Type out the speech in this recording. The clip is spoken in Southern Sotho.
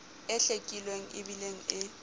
e hlwekileng e bileng e